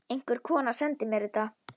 Einhver kona sendi mér þetta.